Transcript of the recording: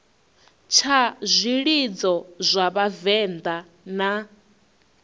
tsha zwilidzo zwa vhavenḓa zwine